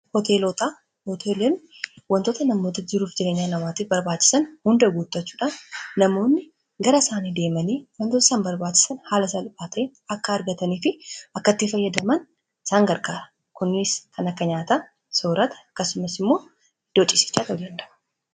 hoteelotaa hoteelem wantoota namoota jiruuf jireenyaa namaati barbaachisan hunda guutachuudha namoonni gara isaanii deemanii wantoota isan barbaachisan haala salphaatee akka argataniifi akkattiin fayyadaman isaangarkaara kunniis kana kanyaataa soorata kasumas immoo idoocisichaa taoldandara